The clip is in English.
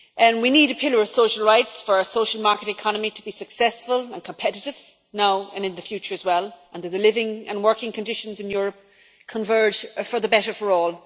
We need a pillar of social rights for a social market economy to be successful and competitive, now and in the future as well, and that the living and working conditions in Europe converge for the better for all.